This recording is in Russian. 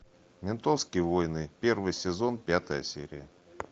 ментовские войны первый сезон пятая серия